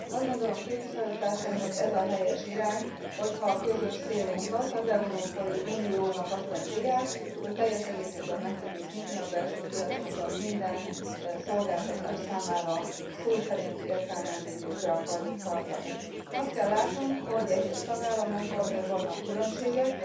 Azt gondolom, képviselőtársaim, hogy ez a helyes irány, hogyha a közös célunkat, az Európai Uniónak azt a célját, hogy teljes egészében meg tudjuk nyitni a belső piacunkat minden szolgáltatás számára, szó szerint értelmezzük és be akarjuk tartani. Azt kell látnunk, hogy egyes tagállamokban azért vannak különbségek.